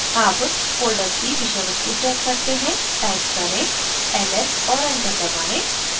अब folder की विषय वस्तु check करते हैं टाइप करें ls और enter दबाएँ